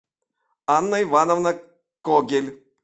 анна ивановна когель